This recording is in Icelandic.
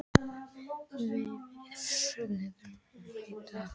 Vífill, hvernig er dagskráin í dag?